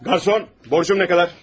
Qarsan, borcum nə qədər?